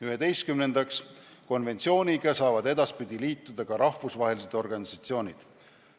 Üheteistkümnendaks, konventsiooniga saavad edaspidi liituda ka rahvusvahelised organisatsioonid.